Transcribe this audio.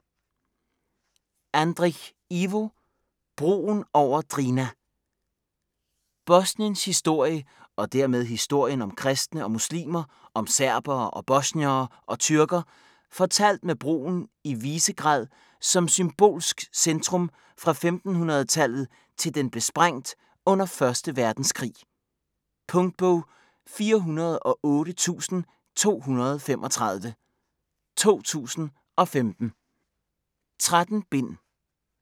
Andric, Ivo: Broen over Drina Bosniens historie, og dermed historien om kristne og muslimer, om serbere, bosniere og tyrker, fortalt med broen i Visegrad som symbolsk centrum fra 1500-tallet til den blev sprængt under 1. verdenskrig. Punktbog 408235 2015. 13 bind.